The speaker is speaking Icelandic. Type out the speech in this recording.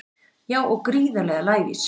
Já og gríðarlega lævís